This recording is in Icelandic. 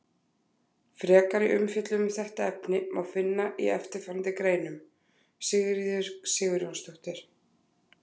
Frekari umfjöllun um þetta efni má finna í eftirfarandi greinum: Sigríður Sigurjónsdóttir.